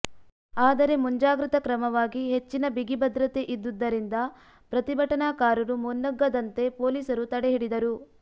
ಆದರೆ ಮುಂಜಾಗ್ರತಾ ಕ್ರಮವಾಗಿ ಹೆಚ್ಚಿನ ಬಿಗಿ ಭದ್ರತೆ ಇದ್ದುದ್ದರಿಂದ ಪ್ರತಿಭಟನಾಕಾರರು ಮುನ್ನುಗ್ಗದಂತೆ ಪೊಲೀಸರು ತಡೆ ಹಿಡಿದರು